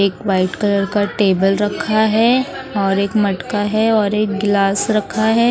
एक white colour का table रखा है और एक मटका है और एक गिलास रखा है।